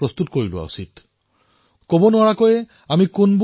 পুনৰবাৰ ভেংকটজীক তেওঁৰ অতুলনীয় প্ৰয়াসৰ বাবে অভিনন্দন জনাইছো